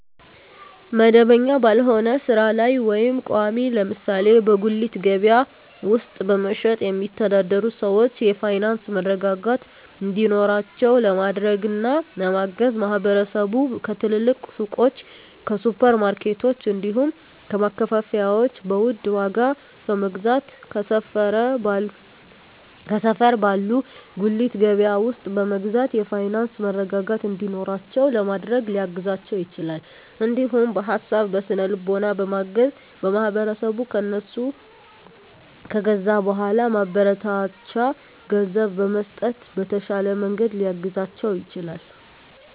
መደበኛ ባልሆነ ስራ ላይ ወይም ቋሚ (ለምሳሌ በጉሊት ገበያ ውስጥ በመሸጥ የሚተዳደሩ ሰዎችን የፋይናንስ መረጋጋት እንዲኖራቸው ለማድረግና ለማገዝ ማህበረሰቡ ከትልልቅ ሱቆች፣ ከሱፐር ማርኬቶች፣ እንዲሁም ከማከፋፈያዎች በውድ ዋጋ ከመግዛት ከሰፈር ባለ ጉሊት ገበያ ውስጥ በመግዛት የፋይናንስ መረጋጋት እንዲኖራቸው ለማድረግ ሊያግዛቸው ይችላል። እንዲሁም በሀሳብ በስነ ልቦና በማገዝ ማህበረሰቡ ከእነሱ ከገዛ በኃላ ማበረታቻ ገንዘብ በመስጠት በተሻለ መንገድ ሊያግዛቸው ይችላል።